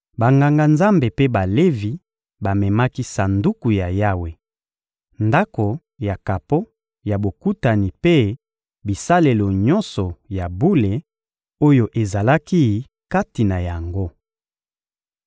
Banganga-Nzambe mpe Balevi bamemaki Sanduku ya Yawe, Ndako ya kapo ya Bokutani mpe bisalelo nyonso ya bule oyo ezalaki kati na yango.